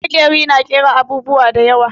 Maƙeri na ƙera abubuwa da yawa.